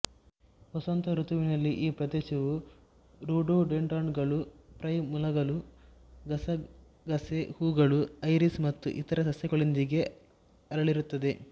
ವಸಂತ ಋತುವಿನಲ್ಲಿ ಈ ಪ್ರದೇಶವು ರೋಡೋಡೆಂಡ್ರಾನ್ಗಳು ಪ್ರೈಮುಲಾಗಳು ಗಸಗಸೆ ಹೂಗಳು ಐರಿಸ್ ಮತ್ತು ಇತರ ಸಸ್ಯಗಳೊಂದಿಗೆ ಅರಳಿರುತ್ತದೆ